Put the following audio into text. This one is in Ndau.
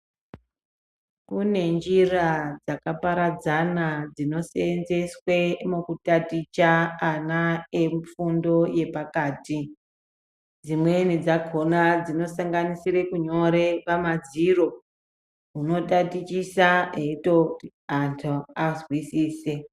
Kune njira dzakaparadzana dzinoseenzeswe mukutaticha ana emifundo yepakati. Dzimweni dzakona dzinosanganisire kunyore pamadziro. Unotatichisa eyitoti antu azwisise.